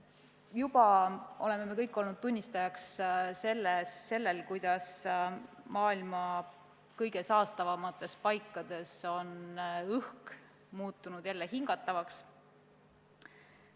Juba oleme me kõik olnud tunnistajaks sellele, kuidas maailma kõige saastatumates paikades on õhk muutunud jälle hingatavaks.